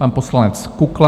Pan poslanec Kukla.